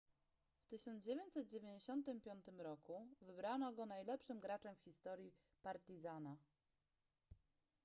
w 1995 roku wybrano go najlepszym graczem w historii partizana